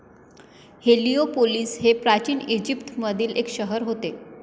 Heliopolis हे प्राचीन ईजिप्तमधील एक शहर होते